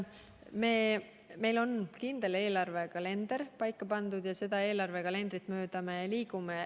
Meil on kindel eelarvekalender paika pandud ja selle kalendri järgi me liigume.